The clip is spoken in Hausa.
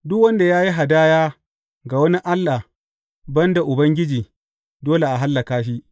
Duk wanda ya yi hadaya ga wani allah ban da Ubangiji, dole a hallaka shi.